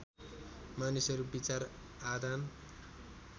मानिसहरू विचार आदान